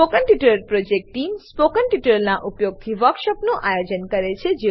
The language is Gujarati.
spoken tutorial project team spoken ટ્યુટોરીયલોનાં ઉપયોગથી વર્કશોપોનું આયોજન કરે છે